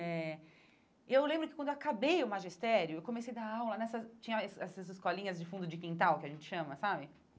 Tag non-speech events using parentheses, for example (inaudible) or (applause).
Eh e eu lembro que quando eu acabei o magistério, eu comecei a dar aula nessas... tinha (unintelligible) essas escolinhas de fundo de quintal, que a gente chama, sabe?